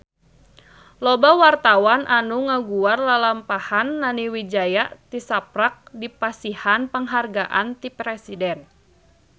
Loba wartawan anu ngaguar lalampahan Nani Wijaya tisaprak dipasihan panghargaan ti Presiden